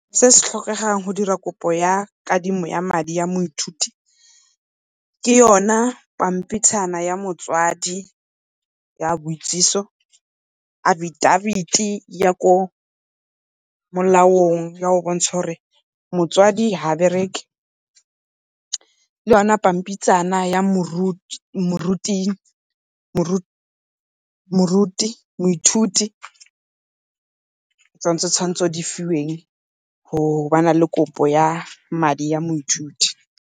Se se tlhokegang go dira kopo ya kadimo ya madi a moithuti ke yona pampitshana ya motswadi ya boitsiso, affidavit ya kwa molaong, ya go bontsha gore motswadi ga a bereke, le yona pampitshana ya moithuti, ke tsona tse di tshwanetseng di fiweng go ba na le kopo ya madi ya moithuti.